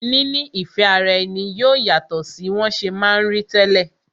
Níní ìfẹ́ ara ẹni yóò yàtọ̀ sí wọn ṣe ma ń rí tẹ́lẹ̀